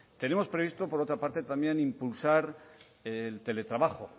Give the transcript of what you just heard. tenemos previsto también por otra parte impulsar el teletrabajo